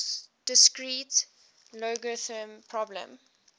discrete logarithm problem